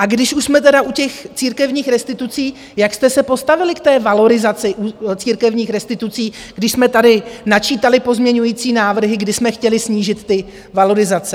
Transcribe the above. A když už jsme tedy u těch církevních restitucí, jak jste se postavili k té valorizaci církevních restitucí, když jsme tady načítali pozměňovací návrhy, kdy jsme chtěli snížit ty valorizace?